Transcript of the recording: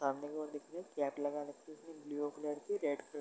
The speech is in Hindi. सामने कि ओर देखिये कैप लगा रखी है ब्लू कलर की रेड कलर --